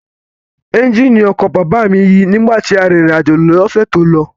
Ẹ́ńjìnì ọkọ̀ bàbá mi yí nígbà tí à ń rírìn àjò ni ọ̀sẹ̀ tó lọ